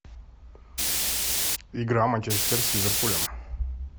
игра манчестер с ливерпулем